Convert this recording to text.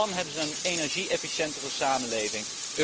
In Japan hebben ze een energie efficiëntere samenleving.